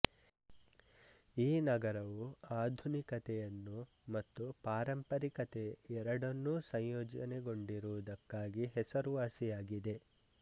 ಈ ನಗರವು ಆಧುನಿಕತೆಯನ್ನು ಮತ್ತು ಪಾರಂಪಾರಿಕತೆ ಎರಡನ್ನೂ ಸಂಯೋಜನೆಗೊಂಡಿರುವುದಕ್ಕಾಗಿ ಹೆಸರುವಾಸಿಯಾಗಿದೆ